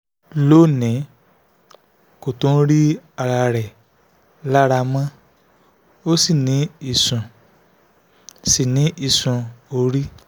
lónìí kò tún rí ara rẹ̀ lára mọ́ ó sì ní ìsun sì ní ìsun orí